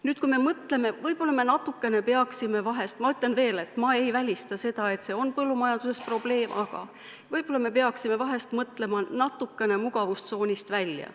Nüüd, võib-olla me peaksime – ma ütlen veel, et ma ei välista, et see on põllumajanduses probleem – mõtlema natukene mugavustsoonist välja.